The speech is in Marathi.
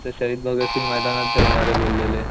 ते शहीद भगत सिंग मैदानात ठेवणारे बोललेले.